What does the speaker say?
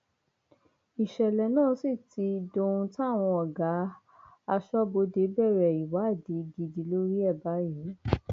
ìṣẹlẹ náà sì ti dohun táwọn ọgá táwọn ọgá aṣọbodè bẹrẹ ìwádìí gidi lórí ẹ báyìí